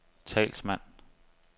talsmand